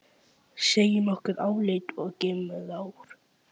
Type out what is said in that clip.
Segjum okkar álit og gefum ráð.